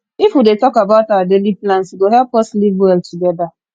if we dey talk about our daily plans e go help us live well together